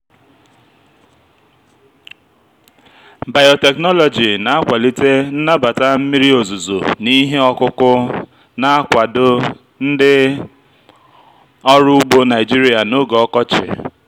biotechnology na-akwalite nnabata mmiri ozuzo n'ihe ọkụkụ na-akwado ndị ọrụ ugbo naijiria n'oge ọkọchị.